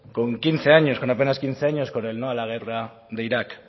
con quince años con apenas quince años con el no a la guerra de irak